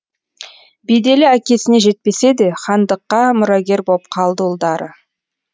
беделі әкесіне жетпесе де хандыққа мұрагер боп қалды ұлдары